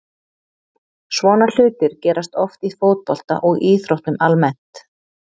Svona hlutir gerast oft í fótbolta og íþróttum almennt.